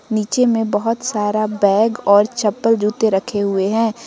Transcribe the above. नीचे में बहोत सारा बैग और चप्पल जूते रखे हुए हैं।